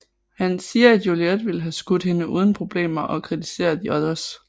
Han siger at Juliet ville have skudt hende uden problemer og kritiserer the Others